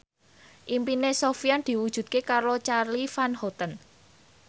impine Sofyan diwujudke karo Charly Van Houten